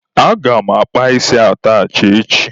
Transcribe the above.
Aga m akpa isi atachị echi.